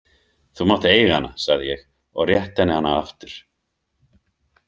Þú mátt eiga hana, sagði ég og rétti henni hana aftur.